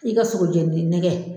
I ka sogo jɛnili nɛgɛ